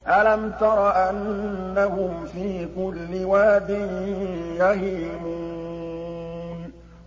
أَلَمْ تَرَ أَنَّهُمْ فِي كُلِّ وَادٍ يَهِيمُونَ